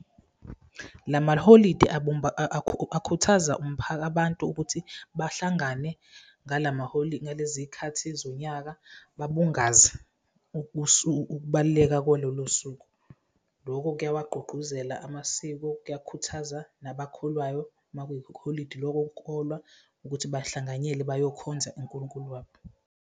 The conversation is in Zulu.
Lama liholidi akhuthaza abantu ukuthi bahlangane ngalezi y'khathi zonyaka, babungaze ukubaluleka kwalolo suku. Loko kuyawagqugquzela amasiko, kuyakhuthaza nabakholwayo uma kuyikholidi lokuyokholwa ukuthi bahlanganyele bayakhonza uNkulunkulu wabo.